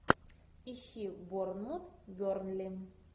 ищи борнмут бернли